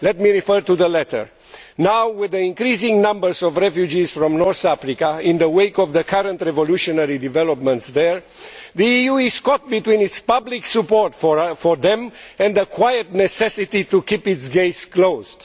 Let me refer to the letter, which says that now, with the increasing numbers of refugees from North Africa in the wake of the current revolutionary developments there, the EU is caught between its public support for them and the quiet necessity to keep its gates closed.